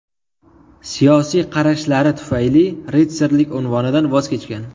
Siyosiy qarashlari tufayli ritsarlik unvonidan voz kechgan.